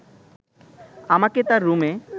আমাকে তার রুমে